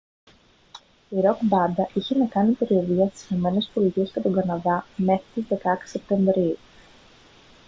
η ροκ μπάντα είχε να κάνει περιοδεία στις ηνωμένες πολιτείες και τον καναδά μέχρι τις 16 σεπτεμβρίου